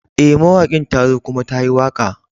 Eh, mawakin ta zo kuma ta yi waka.